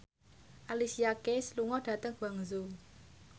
Alicia Keys lunga dhateng Guangzhou